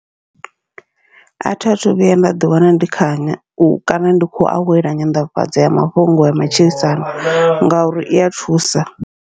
Athi athu vhuya nda ḓi wana ndi kha u kana ndi kho awela nyanḓafhadza mafhungo ya matshilisano ngauri ia thusa.